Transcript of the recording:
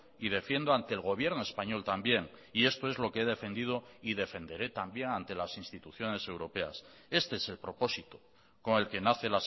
y defiendo ante el gobierno español también y esto es lo que he defendido y defenderé también ante las instituciones europeas este es el propósito con el que nace